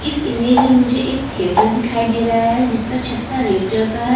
इस इमेज में मुझे एक तेर्तेर फिखै दे रह है जिसका छटा रेड कलर का है.